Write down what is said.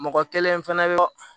Mɔgɔ kelen fɛnɛ bɛ